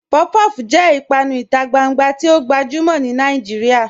Puff-puff jẹ̀ ìpànù ìtà gbàngbà tì o gbajumọ̀ ni Nàìjíríà